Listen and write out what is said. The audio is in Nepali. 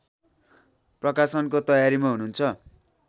प्रकाशनको तयारीमा हुनुहुन्छ